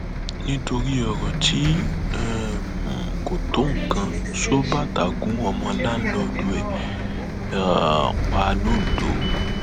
nítorí ọrọ tí um kò tó nǹkan ṣọọbàtà gún ọmọ láǹlọọdù ẹ um pa lọńdọ